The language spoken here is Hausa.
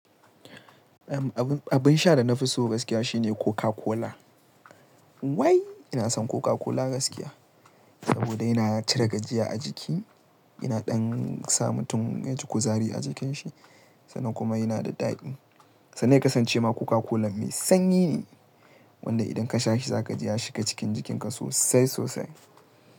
Abun, abun sha da na fi so gaskiya shine Coca Cola. Wai! Ina son Coca Cola gaskiya saboda yana cire gajiya a jiki, yana ɗan sa mutum yaji kuzari a jikin shi sannan kuma yana da daɗi. Sannan ya kasance ma Coca Cola mai sanyi ne wanda idan ka sha shi za ka ji ya shiga cikin jikinka sosai sosai.